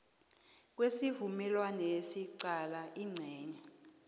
kwesivumelwanesi qala incenye